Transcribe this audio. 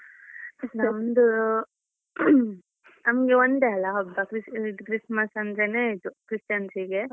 ನಮ್ದು ನಮ್ಗೆ ಒಂದೇ ಅಲ ಹಬ್ಬ Christian ಅದ್ದು Christmas ಅಂದ್ರೇನೆ ಇದು Christians ಗೆ.